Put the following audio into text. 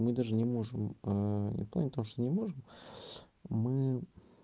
мы даже не можем не в плане не то что не можем мы